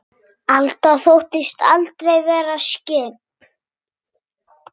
Alda þóttist aldrei vera skyggn.